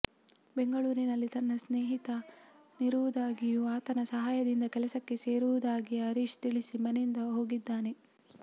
ಬೆಂಗಳೂರಿನಲ್ಲಿ ತನ್ನ ಸ್ನೇಹಿತ ನಿರುವುದಾಗಿಯೂ ಆತನ ಸಹಾಯ ದಿಂದ ಕೆಲಸಕ್ಕೆ ಸೇರುವುದಾಗಿ ಹರೀಶ್ ತಿಳಿಸಿ ಮನೆಯಿಂದ ಹೋಗಿದ್ದಾನೆ